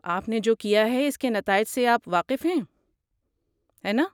آپ نے جو کیا ہے اس کے نتائج سے آپ واقف ہیں، ہے نا؟